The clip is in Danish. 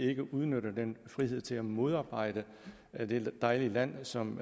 ikke udnytter den frihed til at modarbejde dette dejlige land som